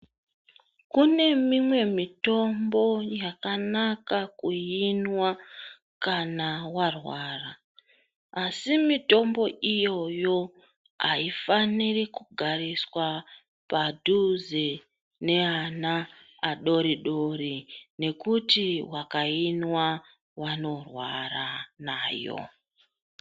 Kune mimwe mitombo yakanaka kuinwa kana warwara asi mitombo iyoyo aifaniri kugariswa padhuze neana adoridori nekuti vakainwa vanorwara nayo.